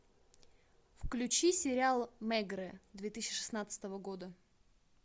включи сериал мегрэ две тысячи шестнадцатого года